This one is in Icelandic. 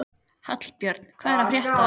Hallbjörn, hvað er að frétta?